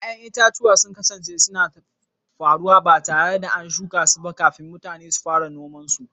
Ƴa'ƴan itatuwa sun kasance suna faruwa ba tare da an shuka su ba kafin mutane su fara noma su.